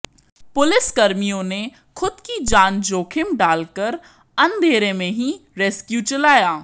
पुलिसकर्मियों ने खुद की जान जोखिम डालकर अंधेरे में ही रेस्क्यू चलाया